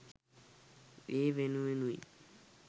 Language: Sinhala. ඒ වෙනුවෙනුයි